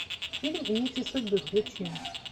фильм нити судьбы включи